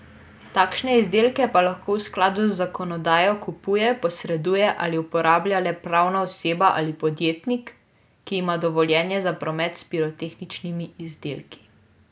Takšne izdelke pa lahko v skladu z zakonodajo kupuje, poseduje ali uporablja le pravna oseba ali podjetnik, ki ima dovoljenje za promet s pirotehničnimi izdelki.